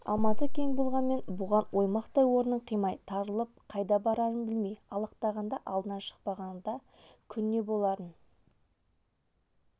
алматы кең болғанмен бұған оймақтай орынын қимай тарылып қайда барарын білмей алақтағанда алдынан шықпағанда күн не боларын